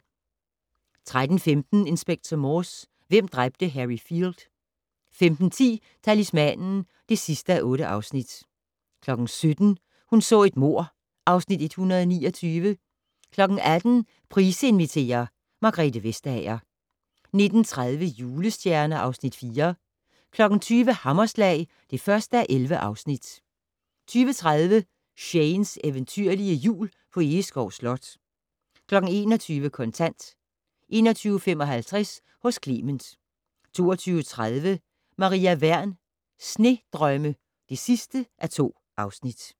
13:15: Inspector Morse: Hvem dræbte Harry Field? 15:10: Talismanen (8:8) 17:00: Hun så et mord (Afs. 129) 18:00: Price inviterer - Margrethe Vestager 19:30: Julestjerner (Afs. 4) 20:00: Hammerslag (1:11) 20:30: Shanes eventyrlige Jul på Egeskov Slot 21:00: Kontant 21:55: Hos Clement 22:30: Maria Wern: Snedrømme (2:2)